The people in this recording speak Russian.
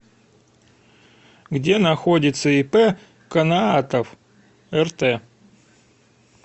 где находится ип каноатов рт